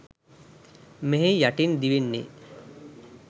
මෙහි යටින් දිවෙන්නේ